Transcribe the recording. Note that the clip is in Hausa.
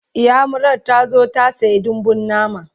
inyamurar tazo ta saya dambun nama